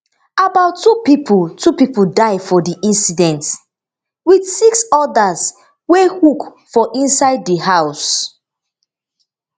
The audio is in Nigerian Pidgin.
about two pipo two pipo die for di incident wit six odas wey hook for inside di house